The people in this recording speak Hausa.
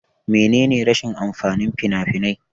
Mene ne rashin amfanin fina-finai?